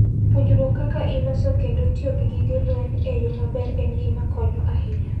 Puonjruok kaka iloso kendo tiyo gi gige lweny e yo maber en gima konyo ahinya.